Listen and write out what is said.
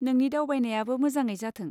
नोंनि दावबायनायाबो मोजाङै जाथों।